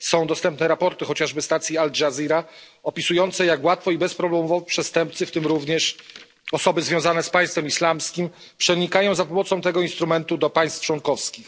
Są dostępne raporty, chociażby stacji Al Dżazira, opisujące, jak łatwo i bezproblemowo przestępcy, w tym również osoby związane z Państwem Islamskim, przenikają w ten sposób do państw członkowskich.